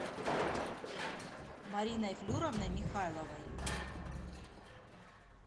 мариной флюровной михайловой